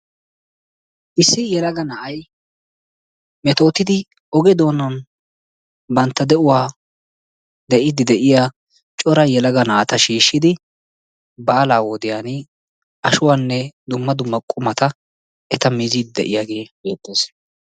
Issi yelaga na'ay metoottidi oge doonan bantta de'uwaa de'iidi de'iya cora yelaga naata shiishshidi baalaa wodiyan ashuwanne dumma dumma qumata eta mizziidi de'iyaagee beettees.